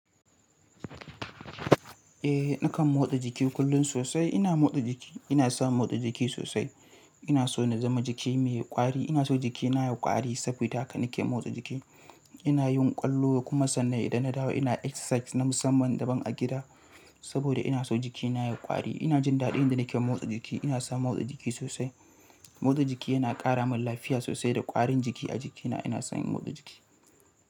Eh, nakan motsa jiki kullum sosai. Ina motsa jiki, ina son motsa jiki sosai. Ina so na zama jiki mai kwari. Ina so jikina ya yi kwari saboda haka nake motsa jiki. Ina yin ƙwallo kuma sannan idan na dawo ina exercise na musamman daban a gida saboda ina so jikina ya yi kwari. Ina jin daɗi idan nake motsa jiki. Ina son motsa jiki sosai, motsa jiki yana karamun lafiya sosai da ƙwarin jiki a jiki na ina son yin motsa jiki.